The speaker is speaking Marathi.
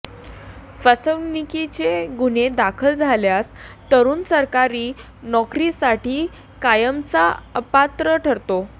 फसवणुकीचे गुन्हे दाखल झाल्यास तरुण सरकारी नोकरीसाठी कायमचा अपात्र ठरतो